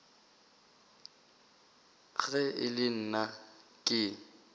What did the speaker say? ge e le nna ke